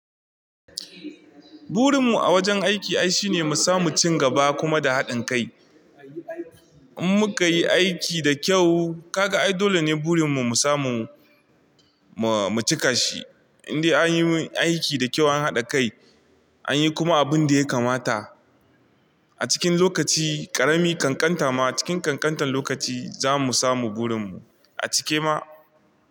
Burin mu a wajen aiki ai shine mu samu cin gaba kuma da haɗin kai. In muka yi aiki da kyau, ka ga ai dole ne burin mu mu samu, mu mu cika shi. Inde anyi aiki da kyau an haɗa kai, an yi kuma abun da ya kamata a cikin lokaci ƙarami, ƙanƙanta ma cikin ƙanƙantar lokaci za mu samu burin mu. A cike ma?